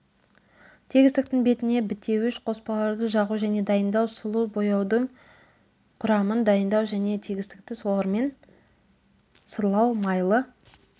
тегістіктің бетіне бітеуіш қоспаларды жағу және дайындау сулы бояудың құрамын дайындау және тегістікті олармен сырлау майлы